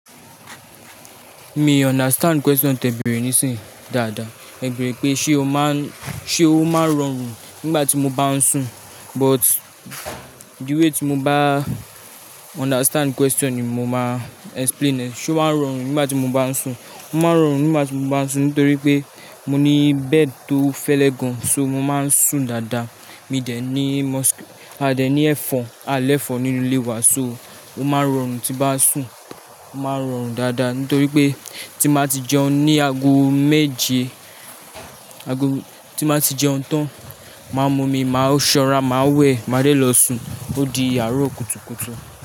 Mi understand question tẹ bẹ̀rẹ̀ nísìnyí dáadáa. Ẹ bẹ̀rẹ̀ pé ṣe o máa ń, ṣe o máa ń rọrùn nígbà tí mo bá ń sùn? But the way tí mo bá understand question ni mo máa explain ẹ̀. Sé o máa ń rọrùn nígbà tí mo bá ń sùn? Mo máa ń rọrùn nígbà tí mo bá ń sùn nítorí pé mo ní bed tó fẹ́lẹ́ gan. So mo máa ń sùn dáadáa. Mi dẹ̀ ní mos-- a dẹ̀ ní ẹ̀fọ̀n, àlẹ̀fọ̀n nínú ilé wa so o máa ń rọrùn tí bá sùn. Máa ń rọrùn dáadáa nítorí pé tí n báa ti jẹun ní ago méje, ago-- tín báa ti jẹun tán, máa mú omi, màá ṣọ́nra, màá wẹ̀, màá dé lọ sùn. Ó di àárọ̀ kùtùkùtù.